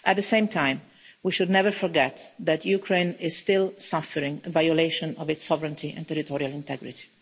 At the same time, we should never forget that Ukraine is still suffering a violation of its sovereignty and territorial integrity.